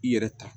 I yɛrɛ ta